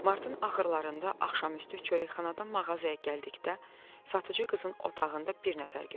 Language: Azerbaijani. Martın axırlarında axşamüstü çörəkxanadan mağazaya gəldikdə satıcı qızın otağında bir nəfər gördüm.